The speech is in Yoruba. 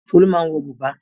Tolú máa ń wọ bùbá.